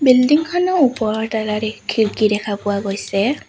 Building খনৰ ওপৰত এটা দিশ খিৰিকী দেখা পোৱা গৈছে।